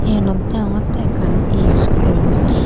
Eeyanot deongotte ekkan school.